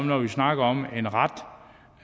når vi snakker om en ret